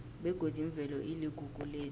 begodi imvelo iligugu lethu